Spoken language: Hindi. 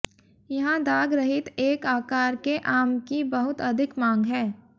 यहां दाग रहित एक आकार के आम की बहुत अधिक मांग है